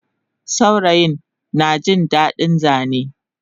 Saurayin najin dadin Zane